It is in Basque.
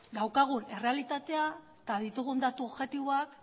daukagun errealitatea eta ditugu datu objektiboak